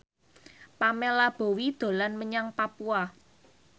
Pamela Bowie dolan menyang Papua